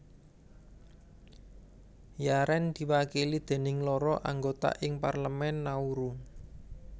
Yaren diwakili déning loro anggota ing Parlemen Nauru